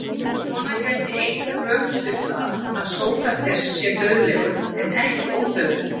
Svona gæti einhver rökstutt það að Sókrates sé dauðlegur en ekki ódauðlegur.